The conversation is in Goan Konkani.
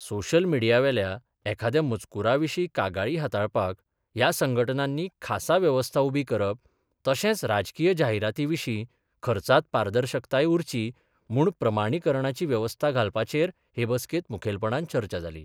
सोशियल मीडीयावेल्या एखाद्या मजकूराविशी कागाळी हाताळपाक ह्या संघटनांनी खासा व्यवस्था उभी करप तशेच राजकीय जाहिराती विशी खर्चात पारदर्शकताय उरची म्हुण प्रमाणिकरणाची व्यवस्था घालपाचेर हे बसकेत मुखेलपणान चर्चा जाली.